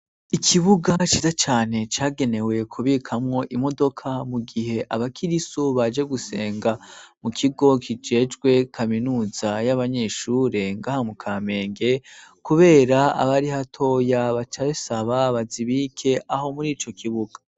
Ikibuga bacize cane cagenewe kubikamwo imodoka mu gihe abakiriso baje gusenga mu kigo kijejwe kaminuza y'abanyeshure ngaha mu kamenge, kubera abari hatoya bacare sababazi bike aho muri ico kibuga.